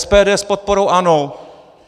SPD s podporou ANO.